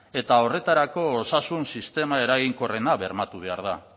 eta horretarako osasun sistema eraginkorrena bermatu behar da